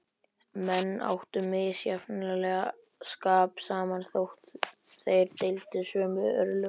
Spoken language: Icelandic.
Menn áttu misjafnlega skap saman, þótt þeir deildu sömu örlögum.